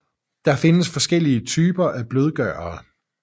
Der findes forskellige typer af blødgørere